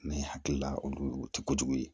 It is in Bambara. N'an ye hakili la olu tɛ kojugu ye